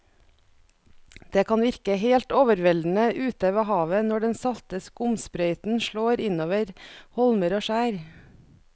Det kan virke helt overveldende ute ved havet når den salte skumsprøyten slår innover holmer og skjær.